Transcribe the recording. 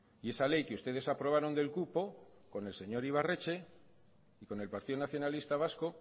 y esa ley que ustedes aprobaron del cupo con el señor ibarretxe y con el partido nacionalista vasco